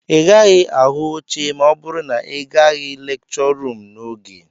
Ị gaghị ahụ oche ma ọ bụrụ na ị gaghị lekchọ ruum n'oge